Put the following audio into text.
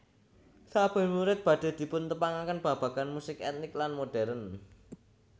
Saben murid badhe dipuntepangaken babagan musik etnik lan modern